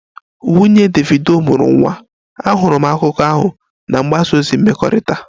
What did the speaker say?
Nwunye Davido mụrụ nwa, ahụrụ m akụkọ ahụ na mgbasa ozi mmekọrịta